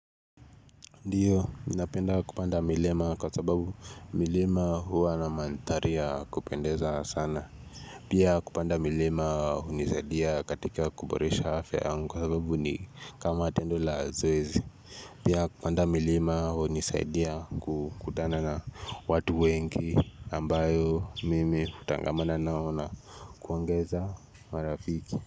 Ndiyo, ninapenda kupanda milima kwa sababu milima huwa na mandhari ya kupendeza sana. Pia kupanda milima hunisaidia katika kuboresha afya yangu kwa sababu ni kama tendo la zoezi. Pia kupanda milima hunisaidia kukutana na watu wengi ambayo mimi hutangamana nao na kuongeza marafiki.